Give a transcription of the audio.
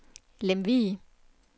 Lemvig